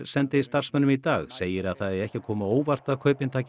sendi starfsmönnum í dag segir að það eigi ekki að koma á óvart að kaupin taki